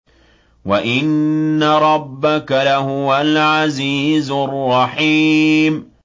وَإِنَّ رَبَّكَ لَهُوَ الْعَزِيزُ الرَّحِيمُ